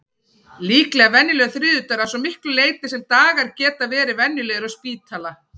Líklega venjulegur þriðjudagur, að svo miklu leyti sem dagar geta verið venjulegir á spítala.